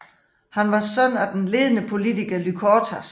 Han var søn af den ledende politiker Lykortas